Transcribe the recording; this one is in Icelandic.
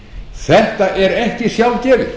þetta er ekki sjálfgefið